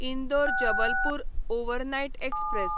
Indore Jabalpur overnight express